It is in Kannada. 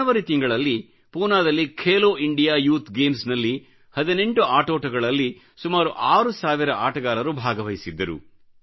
ಜನವರಿ ತಿಂಗಳಲ್ಲಿ ಪೂನಾದಲ್ಲಿ ಖೇಲೋ ಇಂಡಿಯಾ ಯೂಥ್ ಗೇಮ್ಸ್ ನಲ್ಲಿ18 ಆಟೋಟಗಳಲ್ಲಿ ಸುಮಾರು 6ಸಾವಿರ ಆಟಗಾರರು ಭಾಗವಹಿಸಿದ್ದರು